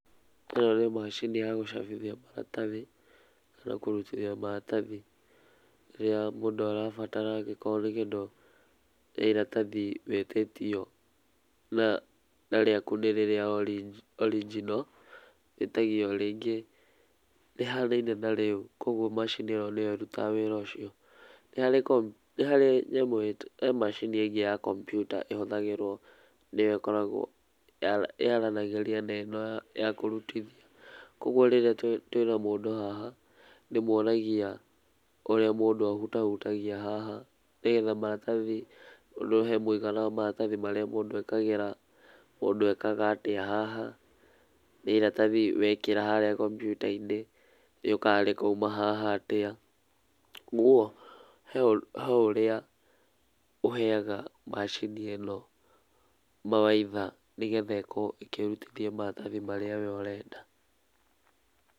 ĩno nĩ macini ya gũcabithia maratathi kana kũrutithia maratathi rĩrĩa mũndũ arabatara angĩkorwo nĩ kĩndũ nĩ iratathi wĩtĩtio, na rĩaku nĩ rĩrĩa original , wĩtagio rĩngĩ rĩhanaine na rĩu koguo macini ĩyo nĩyo ĩrutaga wĩra ũcio. Nĩ hari nyamũ, he macini ĩngĩ ya kompiuta ĩhũthagĩrwo, nĩyo ĩkoragwo yaranagĩria na ĩno ya kũrutithia. Koguo rĩrĩa twĩna mũndũ haha nĩ ndĩmuonagia ũrĩa mũndũ ahutahutagia haha, nĩ getha maratathi, no he mũigana wa maratathi marĩa mũndũ ekagĩra, mũndũ ekaga atĩa haha, na iratathi wekĩra harĩa kompiuta-inĩ, rĩũkaga rĩkauma haha atĩa. Ũguo he ũrĩa ũheaga macini ĩno mawaitha nĩ getha ĩkorwo ĩkĩrutithia maratathi marĩa we ũrenda.